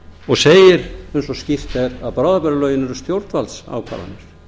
og segir eins og skýrt er að bráðabirgðalögin eru stjórnvaldsákvarðanir